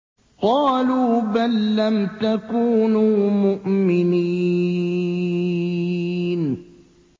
قَالُوا بَل لَّمْ تَكُونُوا مُؤْمِنِينَ